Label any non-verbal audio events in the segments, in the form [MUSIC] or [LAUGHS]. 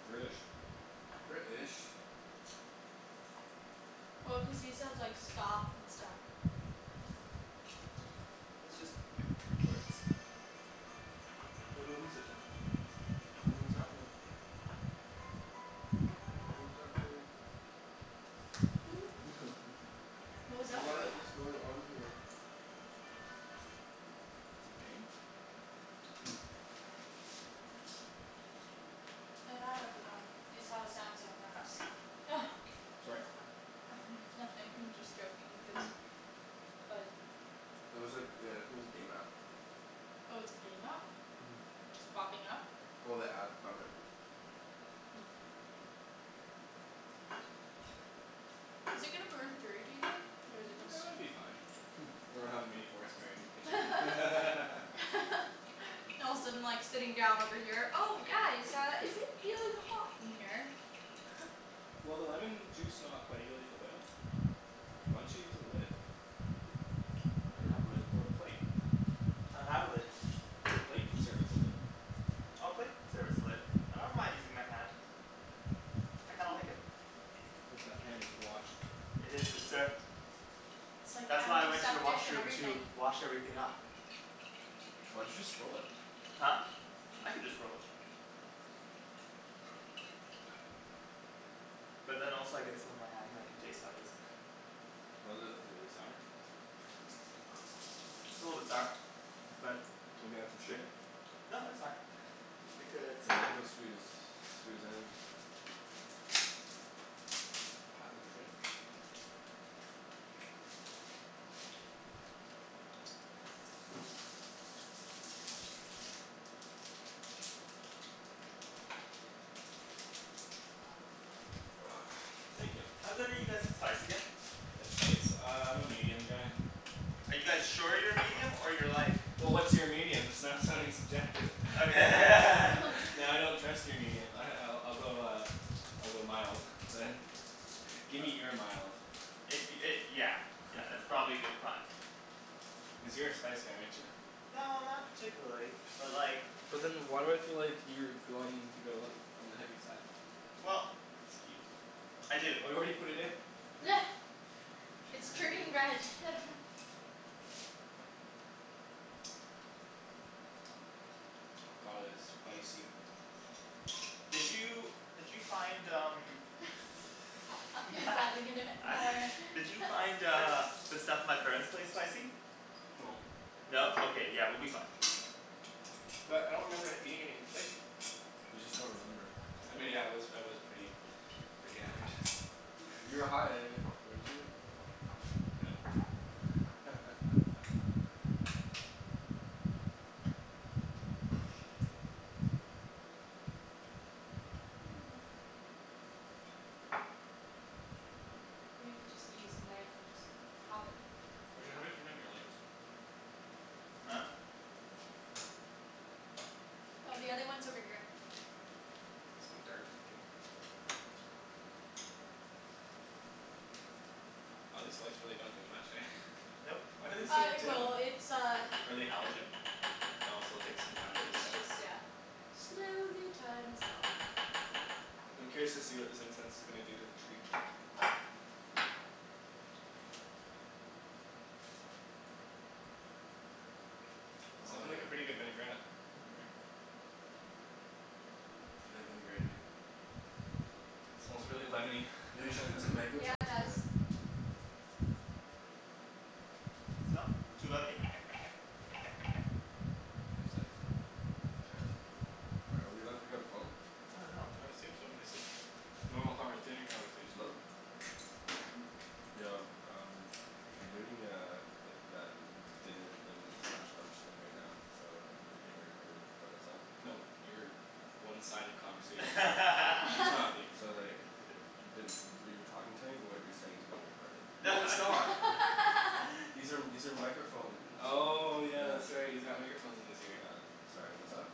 British. British Well cuz he says like "skahf" and stuff. It's just like three words. No no music [NOISE] I don't know what's happening. Don't know what's happening. [NOISE] [LAUGHS] What was that What about? is going on here? It's a game? No not everyone, it's how Samsung apps [LAUGHS] Sorry? [NOISE] Nothing I'm just joking cuz [NOISE] Like It was like uh [NOISE] it was a game app. Oh it's a game app? Mhm Popping up? Well, the ad from it. Is it gonna burn through, do you think? Or is it gonna [NOISE] s- It'll be fine [LAUGHS] or we'll have a mini forest fire in your [LAUGHS] kitchen [LAUGHS] All of a sudden like sitting down over here, "Oh guys uh is it feeling hot in here?" [LAUGHS] Will the lemon juice not coagulate the oil? Why don't you use a lid? I Or don't have a lid. a or a plate? I don't have a lid. The plate can serve as a lid. Oh plate could serve as a lid, but I don't mind using my hand. I kinda like [LAUGHS] it. Hope that hand is washed. It is, good sir. Like That's why I went to the antiseptic and washroom to everything. wash everything up. Why'd you just throw it? Huh? I can just throw it. But then also I get some on my hand and I can taste how it is. How is it? Really sour. It's a little bit sour. But, Maybe add some shit sugar? No, it's fine. Because The mango's sweet as, sweet as anything. God, those are good. [NOISE] Thank ya. How good are you guys with spice again? That spice? Uh I'm a medium guy. Are you guys sure you're medium or you're like Well what's your medium? That's not sounding subjective [LAUGHS] Okay [LAUGHS] Now I don't [LAUGHS] trust your medium ah I I'll go uh I'll go mild, man. [LAUGHS] Gimme your mild. If y- it yeah yeah that's probably a good [LAUGHS] plan. Cuz you're a spice guy, aren't ya? No not particularly, but like But then why do I feel like you're going to go all th- on the heavy side? Well [NOISE] Excuse me? I do [NOISE] It's turning Arjan red [LAUGHS] Oh my god, that's spicy. Did you did you find um [LAUGHS] He's adding in it more in Did you find uh the stuff at my parents' place spicy? No. No? Okay, yeah we'll be fine. But I don't remember eating anything spicy. You just don't remember. I mean I was I was pretty pretty hammered. You were high, weren't you? [LAUGHS] [NOISE] [NOISE] You know you could just use a knife and just pop it. Arjan, how do I turn on your lights? Huh? Hmm? Yeah. Oh, the other one's over here. So dark in here. Maybe we'll turn this one on. Aw these lights don't really do much eh? Nope. Why are they so Uh it dim? will, it's uh Are they halogen? Oh so it'll take some time to heat It's up? just yeah, slowly turns on. I'm curious to see what this incense is gonna do to the tree. It's Oh lookin' yeah. like a pretty good vinaigrette. [NOISE] Mhm Can I vinaigrette you? Smells really lemony Yo, you should put some Mm, [LAUGHS] mango yeah it chunks in does. there. So? Too lemony? Who's that? [INAUDIBLE] Am I, are we allowed to pick up the phone? I dunno. I would assume so, they said [NOISE] normal conver- dinner conversation. Hello? [NOISE] Yo, um I'm doing uh like that dinner thing slash lunch thing right now so you're being recorded but what's up? No, your one-sided conversation is being recorded. He's not [LAUGHS] [LAUGHS] being So recorded. like [NOISE] you're talking to me but what you're saying is being recorded. No [LAUGHS] No it's not. [NOISE] [LAUGHS] These are these are microphone Oh yeah, that's Yeah. right, he's got microphones in his ear. Yeah, sorry what's up?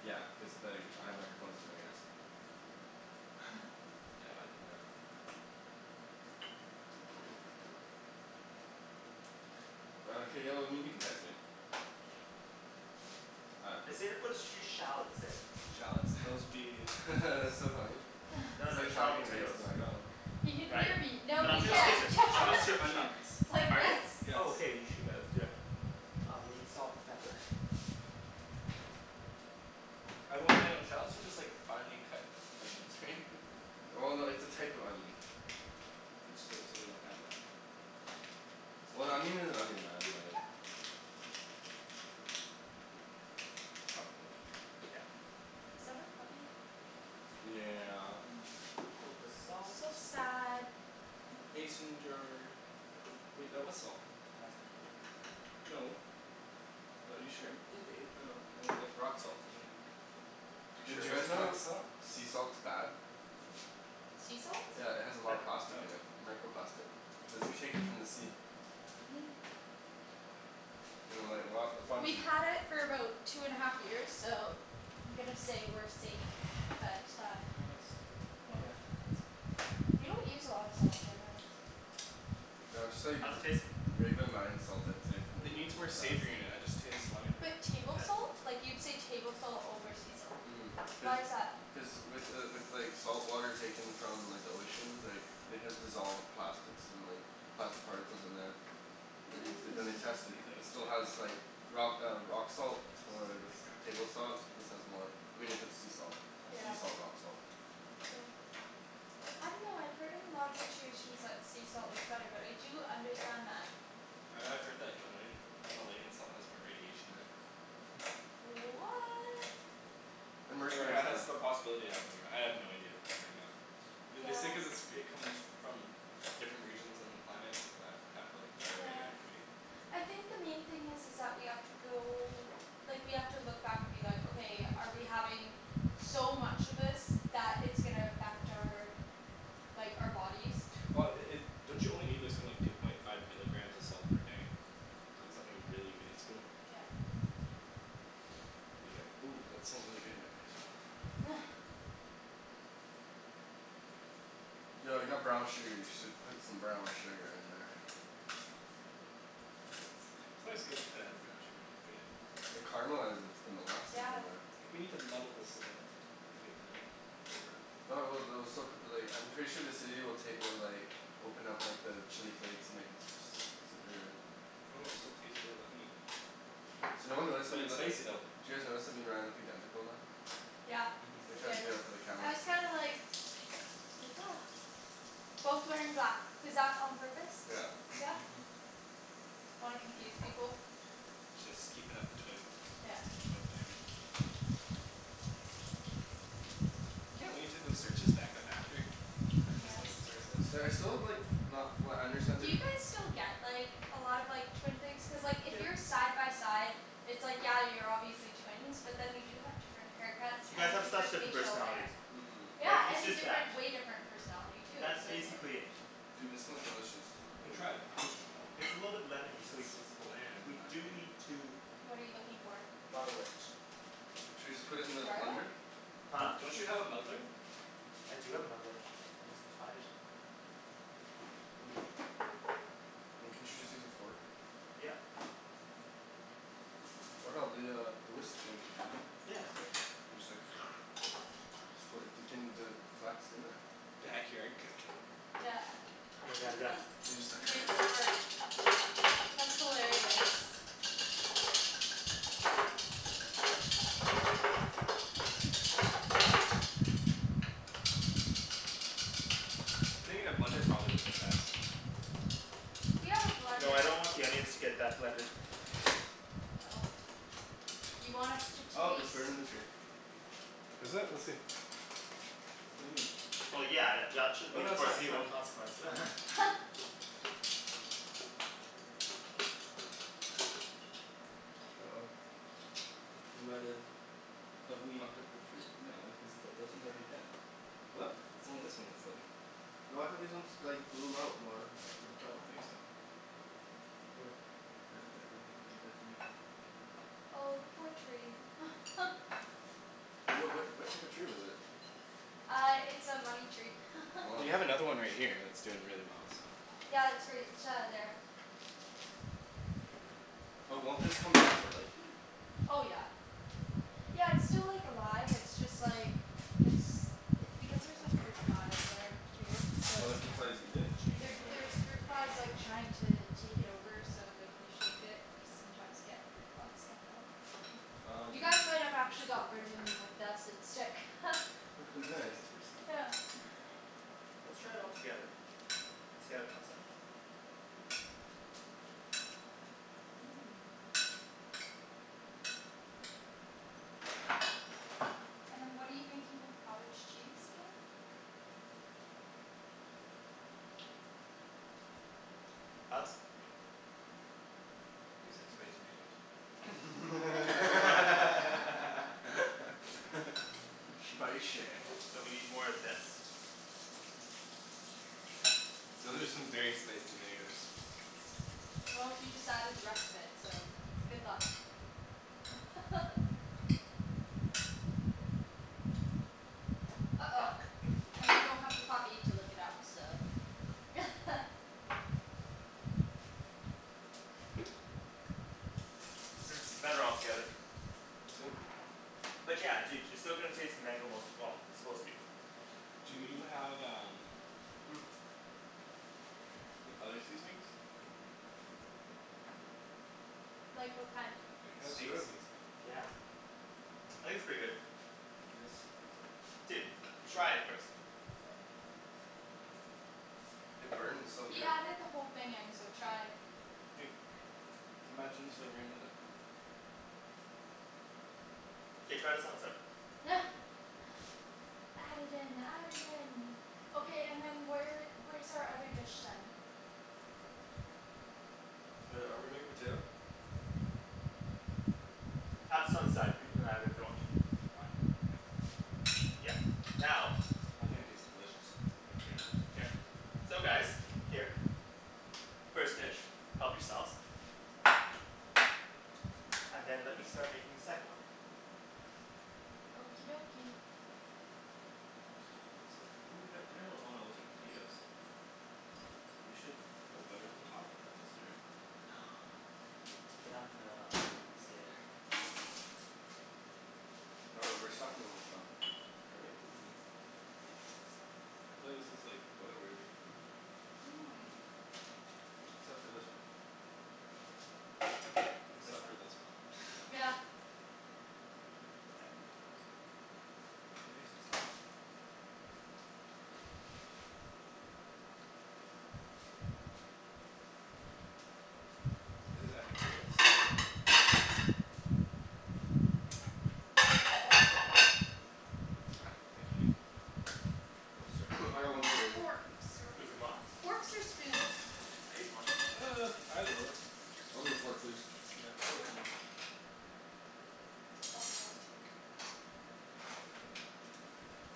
Yeah, cuz like I have microphones in my ears. [LAUGHS] [NOISE] Oh hey y- well I mean you can text me. All right, They peace. say to put a sh- few shallots in. Shallots? Those'll be [LAUGHS] That's so [INAUDIBLE] funny No, he's no like shallot talking right potatoes. to the Oh microphone. He can Right? hear me, But no No, I'm he gonna shallots skip can't it. [LAUGHS] I'm gonna shallots are skip the shop. onions. it's like Are they? yes Yes. Oh okay, you should, yeah let's do that. I'll be salt and pepper. I hope they don't, shallots are just like finely cut onions right? [LAUGHS] Well no, it's a type of onion. Which, so so we don't have that. That's Well an fine. onion is an onion man, like It's not a big deal. Yeah. Was that our puppy? Yeah. Little bit of salt. So sad. Mason jar. Wait, that was salt. No, that's pepper. No. What, are you sure? Yeah, dude. Oh, it looked like rock salt to me. You're sure Did it you guys wasn't rock know salt? sea salt's bad? Sea salt? Yeah it has a lot of Pepper. plastic Oh, in okay. it. Microplastic. Cuz it's taken from the sea. Mm. And like a lot a bunch We've of had it for about two and a half years, so I'm gonna say we're [NOISE] safe, but uh What else do I need? Oh Yep. yeah, onions. We don't use a lot of salt generally. No I just thought you'd How's v- it tasting? regular mined salt I'd say from the, It needs is more the best. savory in it. I just taste lemon. But table Mkay. salt? Like you'd say table salt over sea salt. Mhm. Cuz Why is that? Cuz with the with like salt water taken from like the ocean like it has dissolved plastics and like plastic particles in there. They This then they tested it. these Mmm. It onions might still has need help. like rock uh rock salt This is a or really crappy table knife you're salt. using. This has more. I mean if it's sea salt, Yeah. Okay sea salt rock salt. Yeah. I dunno, I've heard in a lot of situations that sea salt is better, but I do understand that. I I've heard that Himalayan Himalayan salt has more radiation in it. [NOISE] What! And Or it mercury and ha- has stuff. the possibility to have more. I have no idea if it's true or not. Th- they say Yeah. cuz it's it comes from different regions on the planet that have like higher Yeah. radioactivity. I think the main thing is is that we have to go, like we have to look back and be like "Okay, are we having so much of this that it's gonna affect our like, our bodies?" Well i- i- don't you only need like something like two point five milligrams of salt per day? Like something really minuscule? Yep. Ooh, that smells really good now, can I smell? [NOISE] [NOISE] Yo I got brown sugar. You should put some brown sugar in there. It's always good to add brown sugar to food, eh? It caramelizes. It's the molasses Yeah. in there. I think we need to muddle this a bit to get the onion flavor out. No I will, they'll still cut the like, I'm sure the acidity will take will like open up like the chili flakes and make it super s- super Well, it still tastes really lemony. So no one realized that But we it's look. Did spicy though. you guys notice that me and Ryan look identical now? Yeah We I Mhm. tried to did. do that for the camera. I was kinda like Like [NOISE] Both wearing black. Was that on purpose? Yeah. Yeah? Mhm. Wanna confuse people? Just keepin' up the twin Yeah. Twin thing. I can't wait to go search us back up after [LAUGHS] and just Yes. listen to ourselves. So like I still have like not flat understand Do their you guys still get like a lot of like twin things? Cuz like if Yeah. you're side by side it's like, yeah you're obviously twins, but then you do have different haircuts You guys and have such different different facial personalities. hair. Mhm. Yeah, Like, it's and just that different, way different personality too, That's so it's like basically it. Dude, this smells delicious No, try it. [NOISE] [LAUGHS] It's a little bit lemony, so we It's it's bland in We my do opinion. need to What are you looking for? muddle it. Should we just put it in the blender? Garlic? D- Huh? don't you have a muddler? I do have a muddler. I just need to find it I mean, couldn't you just use a fork? Yep. Or hell, the uh the whisk thing. Yeah, that's good. Then you just like [NOISE] So wh- y- d- can you does it, flax in there? Backyard cooking. Yeah Oh my god, yes. [LAUGHS] And just He makes it work. like [NOISE] That's hilarious. Putting it in a blender probably woulda been best. We have a No, I blender. don't want the onions to get that blended. Oh. You want us to Oh it's taste burning the tree. Is it? Let's see. What do you mean? Well yeah, th- y- at should Oh be the no, that's fine, that's foreseeable fine. consequence [LAUGHS] [LAUGHS] Uh oh. We might've fucked up the tree. No, cuz th- those ones are already dead. It's What? it's only this one that's living. No I thought these ones like bloom out more after the I fact. don't think so. [NOISE] The- the- they look pretty dead to me. Oh the poor tree [LAUGHS] What what what type of tree was it? Uh it's a money tree [LAUGHS] Well, you have [NOISE] another one right here that's doing really well, so. Yeah, it's right uh there. But won't this come back to life here? Oh yeah. Yeah it's still like alive, it's just like it's it's because there's like fruit flies there too, so Oh the fruit kinda flies eat Did it? it change There flavor? there's fruit flies like trying to take it over so like if you shake it you sometimes get fruit flies coming out [LAUGHS] Oh You dude. guys might have actually got rid of them with that scent stick [LAUGHS] I think we [LAUGHS] still Nice. need some more seafood. Yeah [NOISE] Let's try it all together and see how it comes out. Mmm. And then what are you making with cottage cheese, again? Thoughts? Tastes like spicy mangoes. [NOISE] [LAUGHS] [LAUGHS] [NOISE] [LAUGHS] [LAUGHS] Spicy. So we need more of this. Those are some very spicy mangoes. Well, he just added the rest of it, so good luck. [LAUGHS] Uh oh, Fuck. [NOISE] and we don't have the puppy to lick it up so [LAUGHS] Hmm, better all together. Let's see it. But yeah, dude, you're still going to taste the mango most of all. It's supposed to be Do you have um [NOISE] like other seasonings? Like what kind? Like a That's steak good. seasoning. Yeah. I think it's pretty good. Like this. Dude, try it first. It burns so He good. added the whole thing in, so try. Dude. Imagine slivering with it. K, try this on its own. [LAUGHS] Add it in, add it in. Okay, and then where where's our other dish then? Oh yeah, are we making potato? Have this on the side, people can have it if they want. Fine. Yeah. Now I think it tastes delicious. Mhm. Here. So guys, here. First dish, help yourselves. And then let me Mmm. start making the second one. Okie dokie. These look ooh we got dinner ro- oh no those are potatoes. We should put butter on the top of those or? No They're not gonna stay there. Oh right, we're stuffin' 'em with stuff. Are we? Ooh. I feel like this is like photo-worthy. Mmm. Except for this one. Hmm? Which Except one? for this one. [LAUGHS] Yeah. K. They're nice and soft. Is this Epicurious? Here. Ah, thank you Nikki. I most [NOISE] I certainly got one Hmm, fork right here. forks or excusez-moi. Forks or spoons? I ate the one. Uh, either one. I'll take a fork please. Yeah, fork for Fork me. Fork, fork.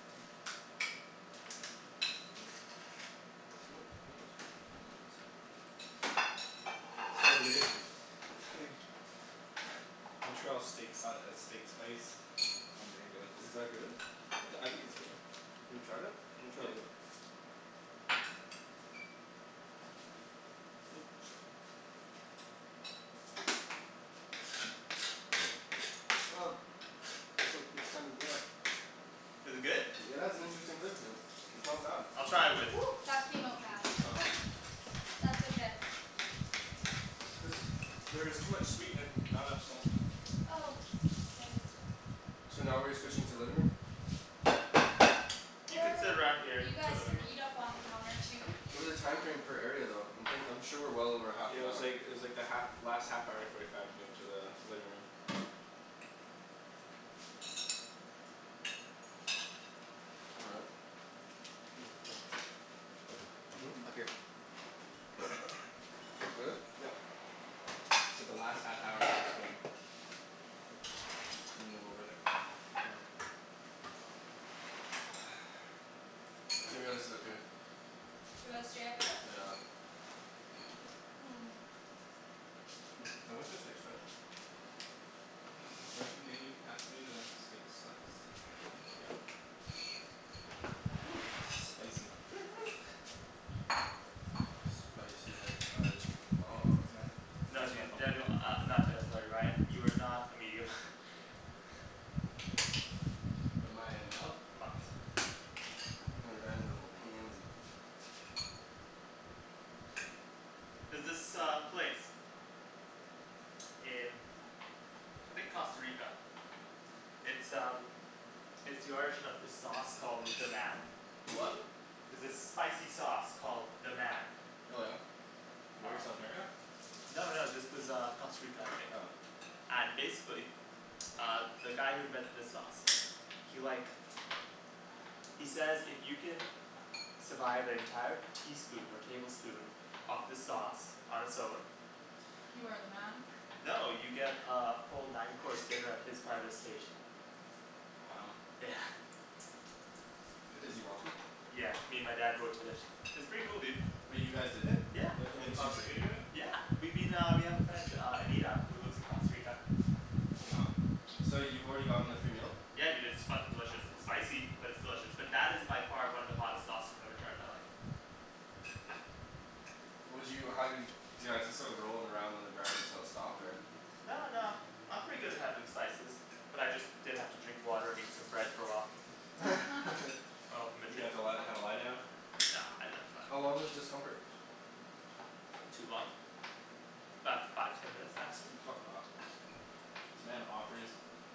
[NOISE] [NOISE] gonna get some of that. Montreal steak si- uh steak spice on mango. Is that good? I t- I think it's good. Have you tried it? Let me try a Yeah. little bit. Ooh, shit. [NOISE] It's ok- it's kinda, yeah. Is it good? [NOISE] It has an interesting flavor to it. It's not bad. I'll try it with [NOISE] that came out fast [LAUGHS] [LAUGHS] That's okay. There's there is too much sweet in it and not enough salty. Oh, k. So now we're switching to living room? You could Or sit around here, you you could go guys living can room. eat up on the counter too. It was a time frame per area though. I'm thin- I'm sure we're well over half Yeah it an was hour. like it was like the half last half hour forty five move to the living room. All right. [NOISE] Hmm? Hmm? Mmm. Up here. [NOISE] Really? Yep. I said the last half hour [INAUDIBLE] M- move over there. Oh. [NOISE] I think we gotta sit up here. We gotta stay up here? Yeah. Mmm [NOISE] Can you pass me the steak spice? [NOISE] Arjan may you pass me the steak slice? Thank ya. [NOISE] This is spicy. Spicy like Arjan's mom. Mind No passing my dude. phone? Daniel, uh not Daniel, sorry Ryan, you are not a medium. [LAUGHS] What am I, a mild? A mild. [LAUGHS] Ryan's a little pansy. There's this uh place. in I think Costa Rica. It's um It's the origin of this sauce called "Deman" The what? [LAUGHS] There's this spicy sauce called "Deman" Oh yeah? Where? South America? No no, this was uh Costa Rica I think. Oh. And basically uh the guy who invented the sauce he like he says if you can survive an entire teaspoon or tablespoon of the sauce on its own You are the man? No, you get uh a full nine course dinner at his private estate. Wow. Yeah. [NOISE] Is he wealthy? Yeah, me and my dad both did it. It's pretty cool, dude. Wait, you guys did it? Yeah. You guys went to And the did you Costa Rica j- together? Yeah we've been uh, we have a friend uh Anita who lives in Costa Rica. Oh wow. So you've already gotten the free meal? Yeah dude, it's fucking delicious. It's spicy, but it's delicious. But that is by far one of the hottest sauces I've ever tried in my life. Would you, how, do you, do you guys just start rolling around on the ground until it stopped or No no, I'm pretty good [INAUDIBLE] good spices. But I just did have to drink water and eat some bread for a while. [LAUGHS] [LAUGHS] Oh You had to [INAUDIBLE] li- have a lie down? No no it's How fine. long was the discomfort? Not too long. 'bout five, ten minutes maximum. Fuck off. This man offers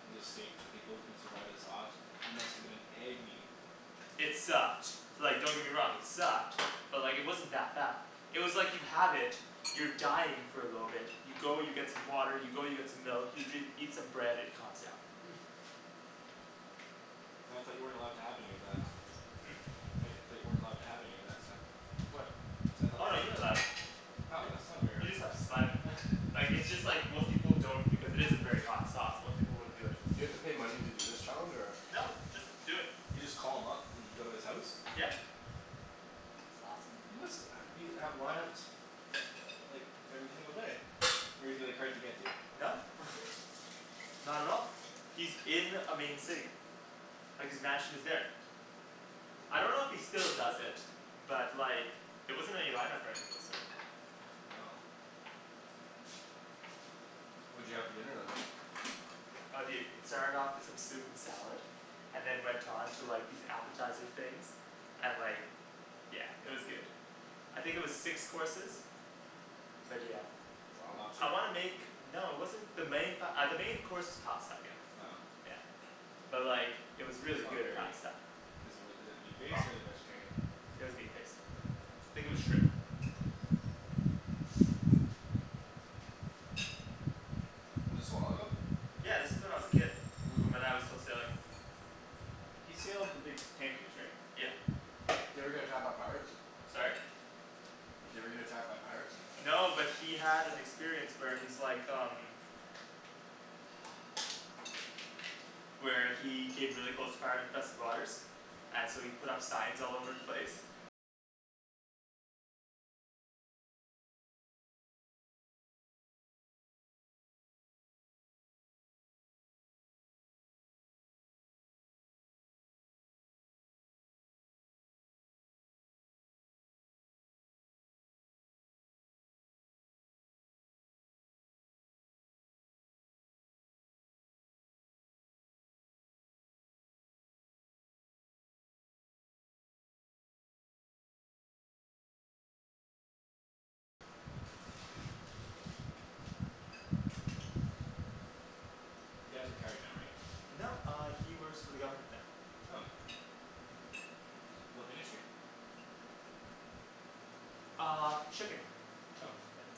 his estate to people who can survive the sauce. You must've been in agony. It sucked, like don't get me wrong, it sucked. But like it wasn't that bad. It was like you have it, you're dying for a little bit, you go you get some water, you go you get some milk, you dr- eat some bread, it calms down. [NOISE] But I thought you weren't allowed to have any of that. Hmm? Tho- thought you weren't allowed to have any of that stuff. What? See, I thought the Oh no, point you're was allowed. Oh Y- that's not a very you hard [INAUDIBLE] just have to then survive it. [LAUGHS] Like, it's just like most people don't because it is a very hot sauce, most people wouldn't do it. You have to pay money to do this challenge or? No, just do it. You just call him up and go to his house? Yeah. That's awesome. He must uh be, have lineups uh uh like every single day. Or is he like hard to get to? No. [LAUGHS] Not at all. He's in a main city. Like his mansion is there. I don't know if he still does it. But like there wasn't any lineup or anything of the sort. Wow. What'd you have for dinner then? Oh dude, it started off with some soup and salad and then went on to like these appetizer things. And like Yeah, it was good. I think it was six courses. But yeah. Wow. I Lobster? wanna make... No it wasn't the main pa- uh the main course was pasta again. Oh. Yeah. But like it was It's really not good very pasta. Is it wi- is it meat-based or is it vegetarian? It was meat based. Oh. Think it was shrimp. [NOISE] Was this a while ago? Yeah, this was when I was a kid. Mmm. When my dad was still sailing. He sailed the big tankers right? Yeah. Did he ever get attacked by pirates? Sorry? Did he ever get attacked by pirates? No, but he had an experience where he's like um Where he hid really close to pirate infested waters And so he put up signs all over the place. You dad's retired now right? No, uh he works for the government now. Oh. What ministry? Uh, shipping. Oh. Yeah.